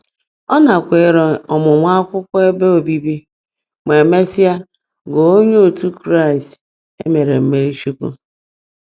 Ọ nakweere ọmụmụ akwụkwọ ebe obibi ma mesịa ghọọ onye otu Kraịst e mere mmirichukwu.